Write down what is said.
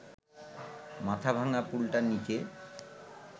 মাথা-ভাঙা পুলটার নিচে